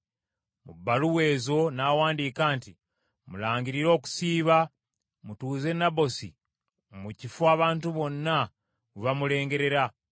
Mu bbaluwa ezo n’awandiika nti, “Mulangirire okusiiba, mutuuze Nabosi mu kifo abantu bonna we bamulengerera,